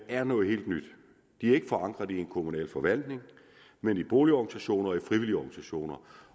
er noget helt nyt de er ikke forankret i en kommunal forvaltning men i boligorganisationer og i frivillige organisationer